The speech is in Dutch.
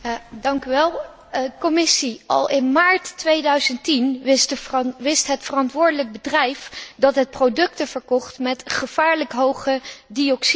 Commissie, al in maart 2010 wist het verantwoordelijk bedrijf dat het producten verkocht met gevaarlijk hoge dioxineconcentraties.